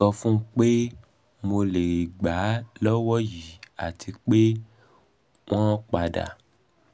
mo so fun won pe mo le gba lowo yi ati ma pe um won pada